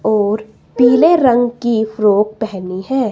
और पीले रंग की फ्रॉक पहनी है।